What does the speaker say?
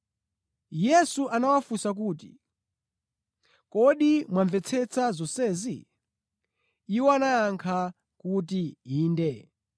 Yesu anawafunsa kuti, “Kodi mwamvetsetsa zonsezi?” Iwo anayankha kuti, “Inde.”